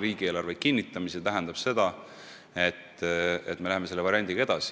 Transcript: riigieelarve kinnitamise kaudu, tähendab seda, et me läheme selle variandiga edasi.